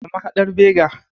A mahadar Bega.